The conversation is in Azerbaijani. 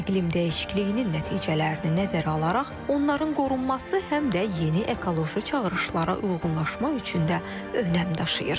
İqlim dəyişikliyinin nəticələrini nəzərə alaraq, onların qorunması həm də yeni ekoloji çağırışlara uyğunlaşma üçün də önəm daşıyır.